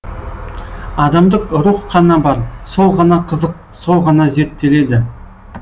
адамдық рух қана бар сол ғана қызық сол ғана зерттеледі